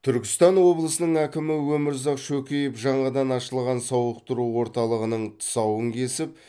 түркістан облысының әкімі өмірзақ шөкеев жаңадан ашылған сауықтыру орталығының тұсауын кесіп